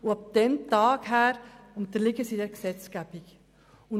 Ab diesem Tag unterliegen sie dieser Gesetzgebung.